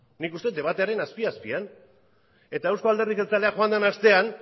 nik uste dut debatearen azpi azpian eta eusko alderdi jeltzalea joan den astean